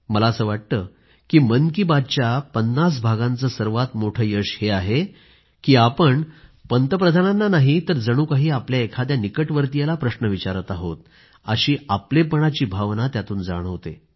मला असं वाटतं की मन की बातच्या 50 भागांचं सर्वात मोठं यश हेच आहे की आपण पंतप्रधानांना नाही तर जणू काही आपल्या एखाद्या निकटवर्तीयाला प्रश्न विचारत आहोत अशी आपलेपणाची भावना त्यातून जाणवते